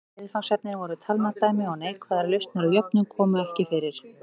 Viðfangsefnin voru talnadæmi og neikvæðar lausnir á jöfnum komu ekki fyrir.